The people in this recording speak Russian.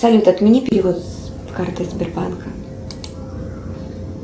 салют отмени перевод с карты сбербанка